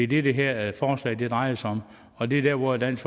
det det her forslag drejer sig om og det er der hvor dansk